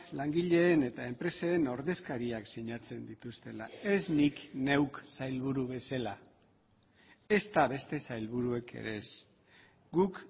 langileen eta enpresen ordezkariak sinatzen dituztela ez nik neuk sailburu bezala ezta beste sailburuek ere ez guk